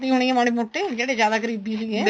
ਹੋਣੀ ਏ ਮਾੜੀ ਮੋਟੀ ਜਿਹੜੇ ਜਿਆਦਾ ਕਰੀਬੀ ਸੀਗੇ